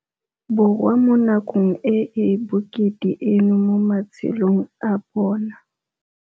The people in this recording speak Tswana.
Borwa mo nakong e e bokete eno mo matshelong a bona.